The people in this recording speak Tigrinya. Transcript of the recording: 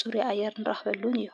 ፁሪ ኣየር ንራክበሉን እዩ።